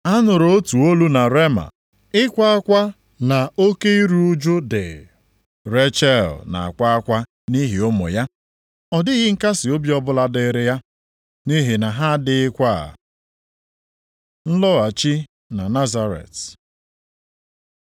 “A nụrụ otu olu na Rema, ịkwa akwa na oke iru ụjụ dị, Rechel na-akwa akwa nʼihi ụmụ ya; ọ dịghị nkasiobi ọbụla dịrị ya, nʼihi na ha adịghịkwa.” + 2:18 \+xt Jer 31:15\+xt* Nlọghachi na Nazaret